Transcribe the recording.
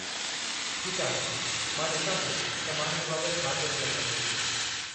ठीकु आहे, मां ॾिसां थो त मां हिन बाबतु छा करे सघां थो।